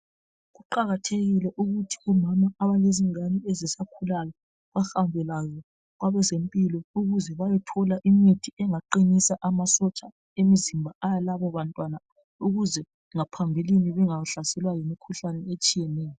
Kuqakathekile ukuthi omama abalezingane ezisakhulayo bahambe labo kwabezempilo ukuze bayothola imithi engaqinisa amasotsha emizimba alabo bantwana ukuze ngaphambilini bengahlaselwa yimikhuhlane etshiyeneyo.